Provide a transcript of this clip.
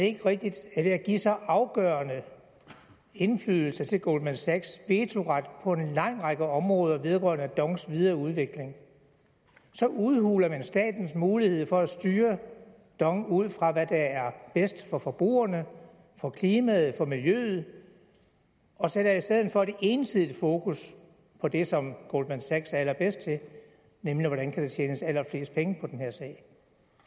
ikke rigtigt at ved at give så afgørende indflydelse til goldman sachs vetoret på en lang række områder vedrørende dongs videre udvikling så udhuler man statens mulighed for at styre dong ud fra hvad der er bedst for forbrugerne for klimaet for miljøet og sætter i stedet for et ensidigt fokus på det som goldman sachs er allerbedst til nemlig hvordan der kan tjenes allerflest penge på den her sag